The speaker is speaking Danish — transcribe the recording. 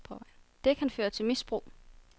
Det kan føre til misbrug.